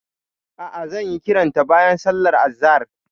A'a, zan yi kiranta bayan sallar azahar.